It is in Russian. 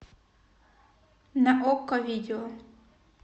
на окко видео